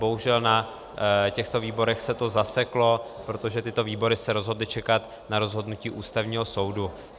Bohužel, na těchto výborech se to zaseklo, protože tyto výbory se rozhodly čekat na rozhodnutí Ústavního soudu.